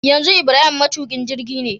yanzu ibrahim matukin jirgine